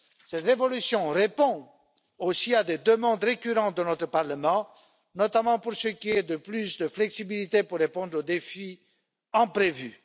Cette révolution répond aussi à des demandes récurrentes de notre Parlement, notamment pour ce qui est de plus de flexibilité pour répondre aux défis imprévus.